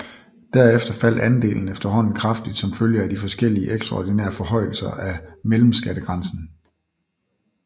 Derefter faldt andelen efterhånden kraftigt som følge af de forskellige ekstraordinære forhøjelser af mellemskattegrænsen